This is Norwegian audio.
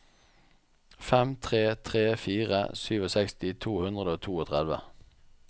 fem tre tre fire sekstisju to hundre og trettito